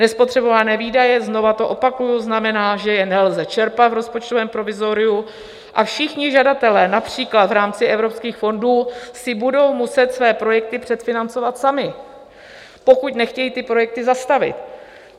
Nespotřebované výdaje - znova to opakuji - znamená, že je nelze čerpat v rozpočtovém provizoriu, a všichni žadatelé, například v rámci evropských fondů, si budou muset své projekty předfinancovat sami, pokud nechtějí ty projekty zastavit.